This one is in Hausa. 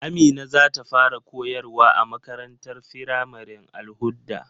Amina zata fara koyarwa a makarantar firamaren Al-hudda.